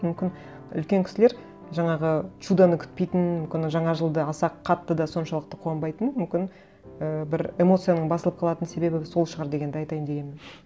мүмкін үлкен кісілер жаңағы чудоны күтпейтін мүмкін жаңа жылды аса қатты да соншалықты қуанбайтыны мүмкін і бір эмоцияның басылып қалатын себебі сол шығар дегенді айтайын дегенім